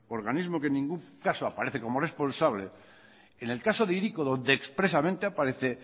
organismo que en ningún caso aparece como responsable en el caso e hiriko donde expresamente aparece